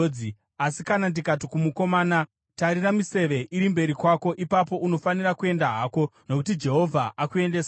Asi kana ndikati kumukomana, ‘Tarira, miseve iri mberi kwako,’ ipapo unofanira kuenda hako, nokuti Jehovha akuendesa kure.